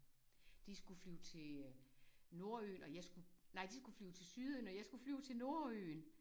De skulle flyve til nordøen og jeg skulle nej de skulle flyve til sydøen og jeg skulle flyve til nordøen